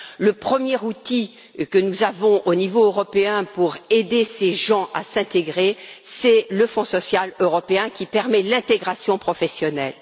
Le premier outil que nous avons, au niveau européen, pour aider ces gens à s'intégrer, c'est le Fonds social européen, qui permet l'intégration professionnelle.